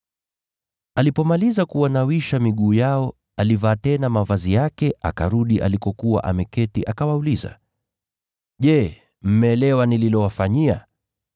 Alipomaliza kuwanawisha miguu yao, alivaa tena mavazi yake, akarudi alikokuwa ameketi, akawauliza, “Je, mmeelewa nililowafanyia?